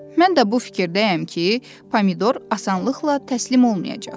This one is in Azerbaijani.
Mən də bu fikirdəyəm ki, pomidor asanlıqla təslim olmayacaq.